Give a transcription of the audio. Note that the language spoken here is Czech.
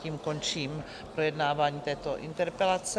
Tím končím projednávání této interpelace.